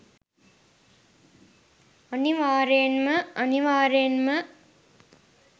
අනිවාර්යෙන්ම අනිවාර්යෙන්ම